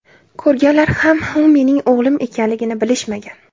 Ko‘rganlar ham u mening o‘g‘lim ekanligini bilishmagan.